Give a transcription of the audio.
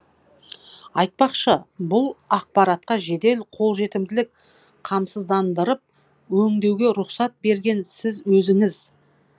айтпақшы бұл ақпаратқа жедел қолжетімділік қамсыздандырып өңдеуге рұқсат берген сіз өзіңіз